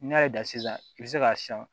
N'i y'a da sisan i bɛ se k'a siyan